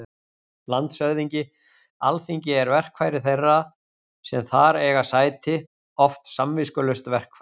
LANDSHÖFÐINGI: Alþingi er verkfæri þeirra sem þar eiga sæti- oft samviskulaust verkfæri.